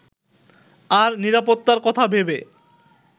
আর নিরাপত্তার কথা ভেবে